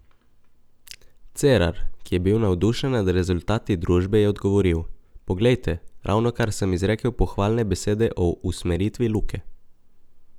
Cerar, ki je bil navdušen nad rezultati družbe, je odgovoril: "Poglejte, ravnokar sem izrekel pohvalne besede o usmeritvi Luke ...